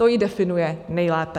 To ji definuje nejlépe.